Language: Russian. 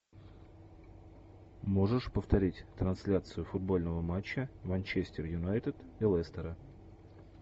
можешь повторить трансляцию футбольного матча манчестер юнайтед и лестера